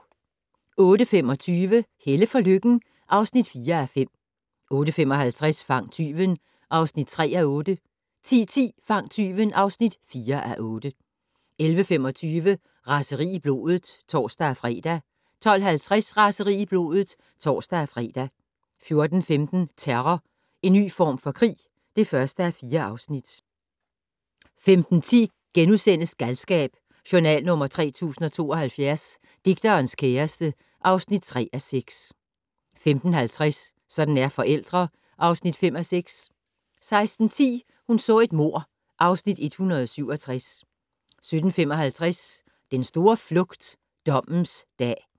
08:25: Helle for Lykken (4:5) 08:55: Fang tyven (3:8) 10:10: Fang tyven (4:8) 11:25: Raseri i blodet (tor-fre) 12:50: Raseri i blodet (tor-fre) 14:15: Terror - en ny form for krig (1:4) 15:10: Galskab: Journal nr. 3072 - Digterens kæreste (3:6)* 15:50: Sådan er forældre (5:6) 16:10: Hun så et mord (Afs. 167) 17:55: Den store flugt - dommens dag